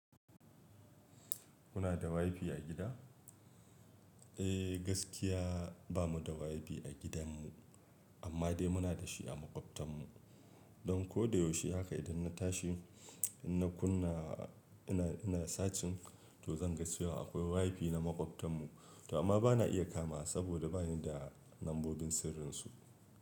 Kuna da wifi a gida? Eh gaskiya bamu da wifi a gidan mu, amma dai muna da shi a maƙwabtan mu. Don ko da yaushe haka idan na tashi, ina kunna, ina, ina searching to zan ga cewa akwai wifi na maƙwabtan mu, amma bana iya kama saboda bani da lambobin sirrinsu.